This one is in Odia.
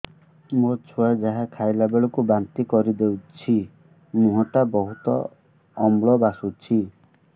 ମୋ ଛୁଆ ଯାହା ଖାଇଲା ବେଳକୁ ବାନ୍ତି କରିଦଉଛି ମୁହଁ ଟା ବହୁତ ଅମ୍ଳ ବାସୁଛି